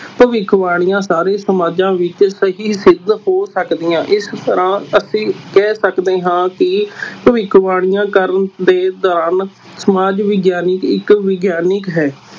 ਭਵਿੱਖਵਾਣੀਆਂ ਸਾਰੇ ਸਮਾਜਾਂ ਵਿਚ ਸਹੀ ਸਿੱਧ ਹੋ ਸਕਦੀਆਂ, ਇਸ ਤਰ੍ਹਾਂ ਅਸੀਂ ਕਹਿ ਸਕਦੇ ਹਾਂ ਕਿ ਭਵਿੱਖਬਾਣੀਆਂ ਕਰਨ ਦੇ ਕਾਰਨ ਸਮਾਜ ਵਿਗਿਆਨਕ ਇਕ ਵਿਗਿਆਨਿਕ ਹੈ।